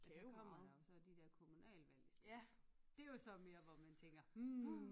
Og så kommer der jo så de der kommunalvalg i stedet for. Dét jo så mere hvor man tænker hm